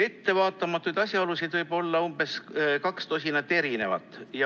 Ettevaatamatuid asjaolusid võib olla umbes kaks tosinat.